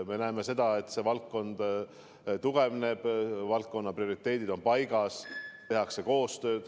Me näeme, et see valdkond tugevneb, selle valdkonna prioriteedid on paigas, tehakse koostööd.